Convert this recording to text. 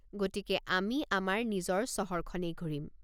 গতিকে আমি আমাৰ নিজৰ চহৰ খনেই ঘূৰিম?